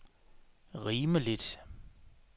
rimeligt